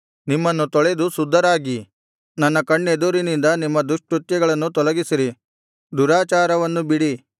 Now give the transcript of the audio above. ನಿಮ್ಮನ್ನು ತೊಳೆದು ಶುದ್ಧರಾಗಿ ನನ್ನ ಕಣ್ಣೆದುರಿನಿಂದ ನಿಮ್ಮ ದುಷ್ಕೃತ್ಯಗಳನ್ನು ತೊಲಗಿಸಿರಿ ದುರಾಚಾರವನ್ನು ಬಿಡಿ